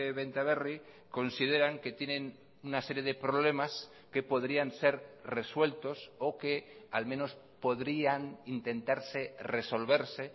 benta berri consideran que tienen una serie de problemas que podrían ser resueltos o que al menos podrían intentarse resolverse